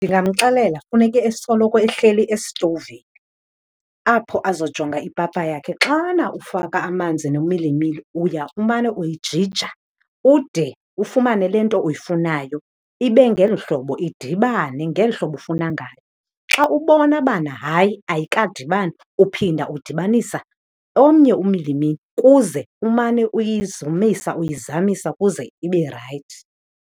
Ndingamxelela funeke esoloko ehleli esitovini apho azojonga ipapa yakhe. Xana ufaka amanzi nomilimili uya umane uyijija ude ufumane le nto uyifunayo ibe ngeli hlobo, idibane ngeli hlobo ufuna ngalo. Xa ubona bana hayi ayikadibani, uphinda udibanisa omnye umilimili kuze umane uyizamisa uyizamisa kuze ibe rayithi.